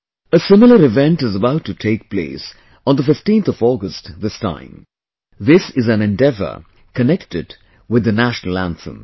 A similar event is about to take place on the 15th of August this time...this is an endeavour connected with the National Anthem